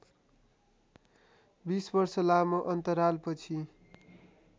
२० वर्ष लामो अन्तरालपछि